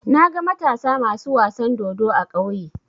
Naga Matasa masu wasan dodo a ƙauye.